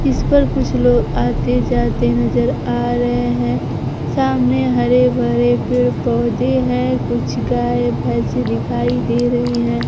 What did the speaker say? इस पर कुछ लोग आते जाते नजर आ रहे हैं सामने हरे भरे पेड़ पौधे हैं कुछ गाय भैंस दिखाई दे रही है।